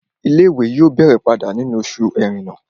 Ilé-ìwé yóò bẹ̀rẹ̀ padà nínú oṣù ẹrẹ́nà